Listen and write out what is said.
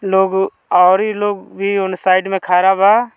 लोग ओरी लोग भी उन साइड में खड़ा बा।